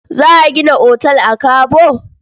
Za a gina otal a Kabo?